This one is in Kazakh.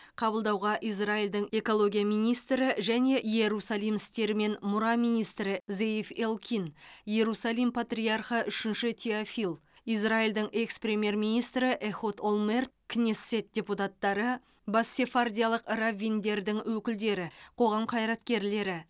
қабылдауға израильдің экология министрі және иерусалим істері мен мұра министрі зеев элкин иерусалим патриархы үшінші теофил израильдің экс премьер министрі эхуд олмерт кнессет депутаттары бас сефардиялық раввиндердің өкілдері қоғам қайраткерлері